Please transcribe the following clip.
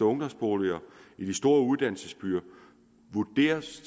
ungdomsboliger i de store uddannelsesbyer vurderes